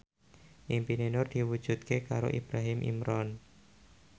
impine Nur diwujudke karo Ibrahim Imran